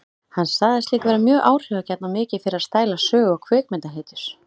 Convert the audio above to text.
Hann sagðist líka vera mjög áhrifagjarn og mikið fyrir að stæla sögu- og kvikmyndahetjur.